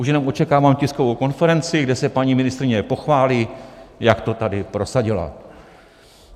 Už jenom očekávám tiskovou konferenci, kde se paní ministryně pochválí, jak to tady prosadila.